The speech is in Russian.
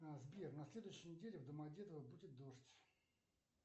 сбер на следующей неделе в домодедово будет дождь